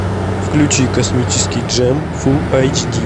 включи космический джем фулл эйч ди